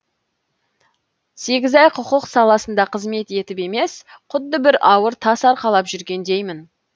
сегіз ай құқық саласында қызмет етіп емес құдды бір ауыр тас арқалап жүргендеймін